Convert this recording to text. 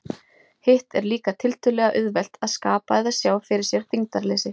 Hitt er líka tiltölulega auðvelt, að skapa eða sjá fyrir sér þyngdarleysi.